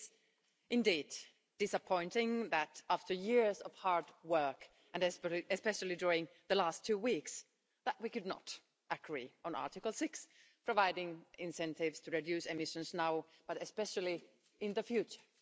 It is indeed disappointing that after years of hard work, and especially during the last two weeks, we could not agree on Article 6, providing incentives to reduce emissions now, and especially in the future.